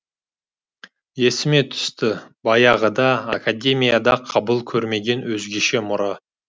есіме түсті баяғыда академияда қабыл көрмеген өзгеше мұра